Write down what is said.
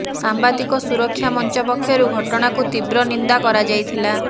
ସାମ୍ବାଦିକ ସୁରକ୍ଷା ମଞ୍ଚ ପକ୍ଷରୁ ଘଟଣାକୁ ତୀବ୍ର ନିନ୍ଦା କରାଯାଇଥିଲା